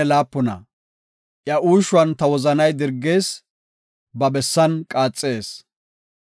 “Iya uushuwan ta wozanay dirgees; ba bessan qaaxees.